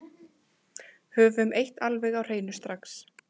Höfum eitt alveg á hreinu strax